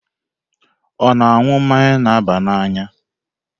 Ọ na-aṅụ mmanya na-aba n'anya?